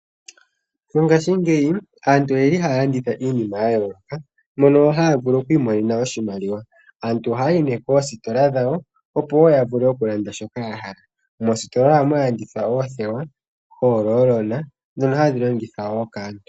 Mongashi ngeyi aantu oyeli haya landitha iinima ya yooloka, mono wo haya vulu oku imonena oshimaliwa. Aantu oha ya yi ne koositola dhawo opo ya vule okulanda shoka yahala. Mositola ohamu landithwa oothewa, oololona, dhono hadhi longithwa wo kaantu.